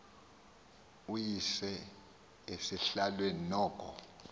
uyise esihlalweni noko